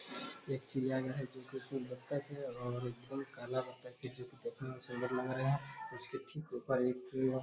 एक चिड़ियाघर है जिसमे की बत्तख है और बहुत काला बत्तख है जो की देखने में सुंदर लग रहा है। ऊपर एक --